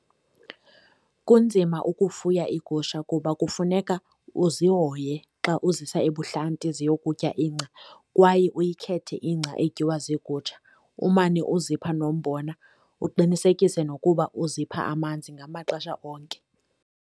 Kunzima ukufuya iigusha kuba kufuneka uzihoye xa uzisa ebuhlanti ziyokutya ingca, kwaye uyikhethe ingca etyiwa ziigusha umane uzipha nombona. Uqinisekise nokuba uzipha amanzi ngamaxesha onke.